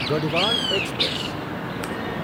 Garhwal express